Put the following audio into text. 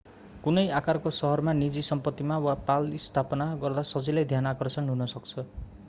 कुनै आकारको शहरमा निजी सम्पत्तिमा वा पाल स्थापना गर्दा सजिलै ध्यान आकर्षण हुन सक्छ